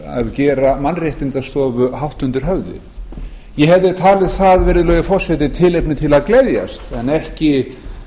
gera mannréttindastofu hátt undir höfði ég hefði talið það virðulegi forseti tilefni til að gleðjast en ekki